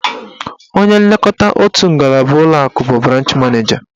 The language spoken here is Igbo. Onye nlekọta otu ngalaba ụlọakụ bụ branch maneja.